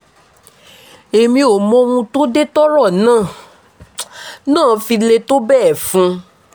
èmi ò mọ ohun tó dé tọ́rọ̀ náà náà fi le tó bẹ́ẹ̀ fún un